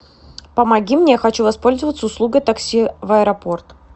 помоги мне я хочу воспользоваться услугой такси в аэропорт